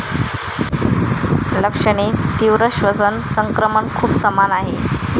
लक्षणे तीव्र श्वसन संक्रमण खूप समान आहे.